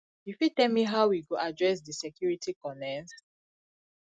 you fit tell me how we go address di security conerns